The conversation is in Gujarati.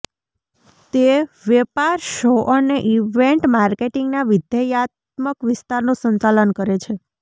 તે વેપાર શો અને ઇવેન્ટ માર્કેટિંગના વિધેયાત્મક વિસ્તારનું સંચાલન કરે છે